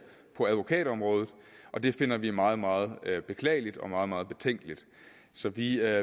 på advokatområdet og det finder vi meget meget beklageligt og meget meget betænkeligt så vi